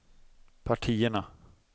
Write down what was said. partierna